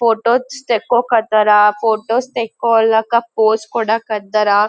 photos ತೆಕ್ಕೊಕ್ ಹತಾರ photos ತೆಕ್ಕೊಳ್ಳಾಕ ಪೋಸ್ ಕೊಡಕ್ ಹತ್ತಾರ --